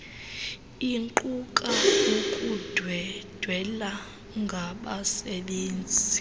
iquka ukundwendwela ngabasebenzi